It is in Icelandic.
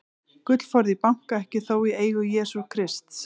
Gullforði í banka, ekki þó í eigu Jesú Krists.